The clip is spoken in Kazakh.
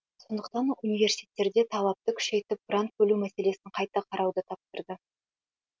сондықтан университеттерде талапты күшейтіп грант бөлу мәселесін қайта қарауды тапсырды